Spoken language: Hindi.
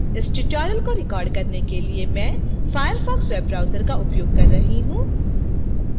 इस tutorial को record करने के लिए मैं firefox web browser का उपयोग कर रही हूँ